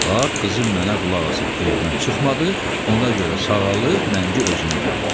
Bax, qızım mənə qulaq asıb evdən çıxmadı, ona görə sağalıb rəngi özünə gəlib.